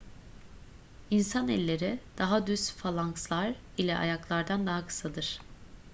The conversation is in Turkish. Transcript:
i̇nsan elleri daha düz falankslar ile ayaklardan daha kısadır